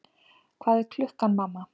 Hvað er klukkan, mamma?